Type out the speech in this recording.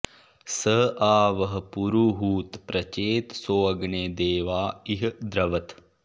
स आ व॑ह पुरुहूत॒ प्रचे॑त॒सोऽग्ने॑ दे॒वाँ इ॒ह द्र॒वत्